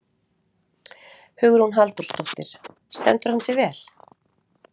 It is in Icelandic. Hugrún Halldórsdóttir: Stendur hann sig vel?